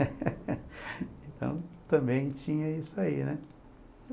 Então, também tinha isso aí, né?